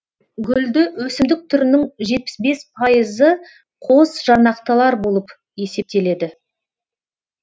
гүлді өсімдік түрінің жетпіс бес пайызы қос жарнақтылар болып есептеледі